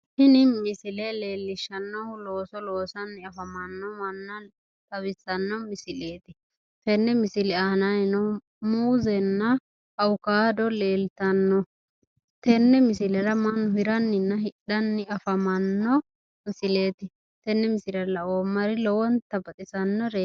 Tini misile leellishshannohu looso loonsanni afamanno manna xawissanno misileeti. Tenne misile aanannino muuzenna awukaado leeltanno. Tenne misilera mannu hiranninna hidhanni afamanno misileeti. Tenne misile laoommari lowonta baxisannoreeti.